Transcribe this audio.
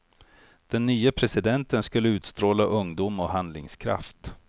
Den nye presidenten skulle utstråla ungdom och handlingskraft.